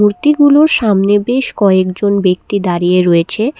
মূর্তি গুলোর সামনে বেশ কয়েকজন ব্যক্তি দাঁড়িয়ে রয়েছে।